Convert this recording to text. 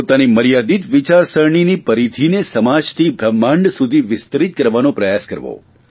પોતાની મર્યાદિત વિચારસરણીનો પરિધીને સમાજથી બ્રહ્માંડ સુધી વિસ્તરિત કરવાનો પ્રયાસ કરવો